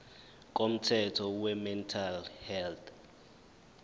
komthetho wemental health